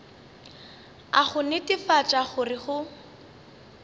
a go netefatša gore go